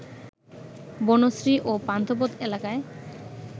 বনশ্রী ও পান্থপথ এলাকায়